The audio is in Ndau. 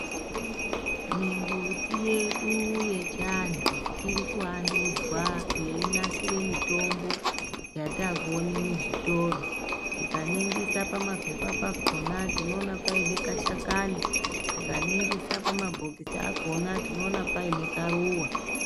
Mimbuti yedu yechiantu ,irikuandudzwa yeinasire mitombo yatakuona muzvitoro. Tikaningirisa pamapepa pakona tinoona paine kashakaini. Tikaningirise pamabhokisi pakona tinoone paine karuwa.